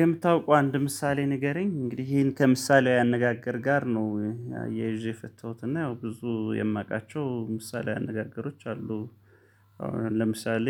የምታውቀው አንድ ምሳሌ ንገረኝ እንግዲህ ይሄን ከምሳሌያዊ አነጋገር ጋር ነው አያይዤ የፈተሁት እና ያው ብዙ የማውቃቸው ምሳሌያዊ አነጋገሮች አሉ። አሁን ለምሳሌ።